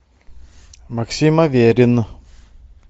максим аверин